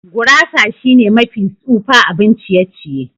Gurasa shine mafi tsufa abun ciye-ciye.